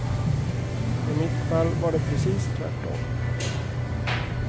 I mitt fall var det precis tvärtom.